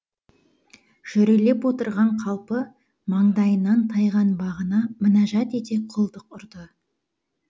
жүрелеп отырған қалпы маңдайынан тайған бағына мінәжат ете құлдық ұрды